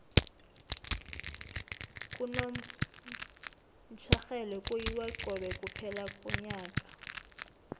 kunomtjherhelwe kuyiwa cobe kuphela konyaka